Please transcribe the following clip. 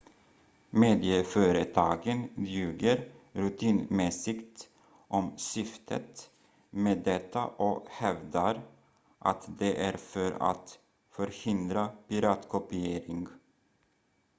"medieföretagen ljuger rutinmässigt om syftet med detta och hävdar att det är för att "förhindra piratkopiering"".